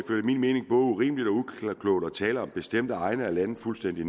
urimeligt og uklogt at tale bestemte egne af landet fuldstændig